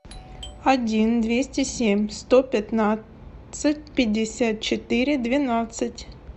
один двести семь сто пятнадцать пятьдесят четыре двенадцать